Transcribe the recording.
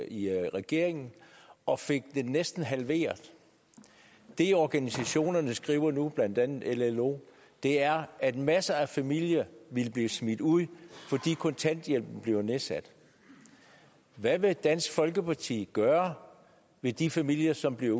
i regeringen og fik det næsten halveret det organisationerne skriver nu blandt andet llo er at masser af familier vil blive smidt ud fordi kontanthjælpen bliver nedsat hvad vil dansk folkeparti gøre ved de familier som bliver